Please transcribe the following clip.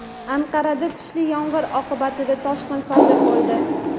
Anqarada kuchli yomg‘ir oqibatida toshqin sodir bo‘ldi.